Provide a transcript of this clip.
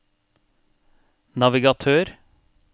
navigatør